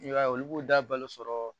I b'a ye olu b'u da balo sɔrɔ